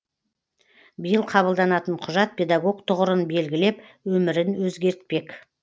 биыл қабылданатын құжат педагог тұғырын белгілеп өмірін өзгертпек